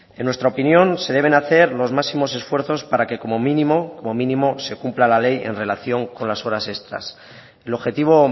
en nuestra opinión se deben hacer los máximos esfuerzos para que como mínimo se cumpla la ley en relación con las horas extras el objetivo